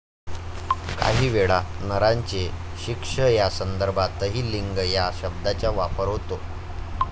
काहीवेळा नराचे शिश्न या संदर्भातही लिंग या शब्दाचा वापर होतो.